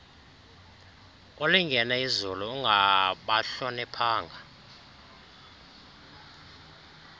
ulingene izulu ungabahloniphanga